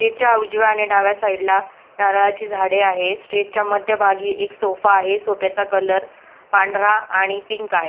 च्या उजव्या आणि डाव्या साइटला नारळाची झाडे आहे स्टेज च्या मध्य भागी एक सोफा आहे सोफ्याचा कलर पांढरा आणि पिंक आहे.